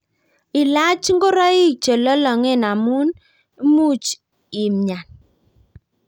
Ilach ngoroik chelolongen amu much imnyan